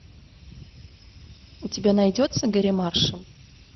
у тебя найдется гэрри маршалл